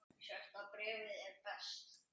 Sjötta bréfið er best.